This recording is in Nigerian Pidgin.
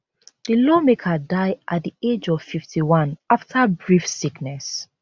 di lawmaker die at di age of 51 afta brief sickness